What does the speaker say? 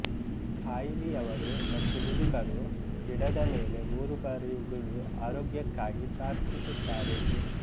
ಖಾಯಿಲಿಯವರು ಮತ್ತು ಮುದುಕರು ಗಿಡದ ಮೇಲೆ ಮೂರು ಬಾರಿ ಉಗುಳಿ ಆರೋಗ್ಯಕ್ಕಾಗಿ ಪ್ರಾರ್ಥಿಸುತ್ತಾರೆ